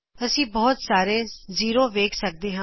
ਅਸੀ ਬਹੁਤ ਸਾਰੇ ਸਿਫਰ ਵੇਖ ਸਕਦੇ ਹਾਂ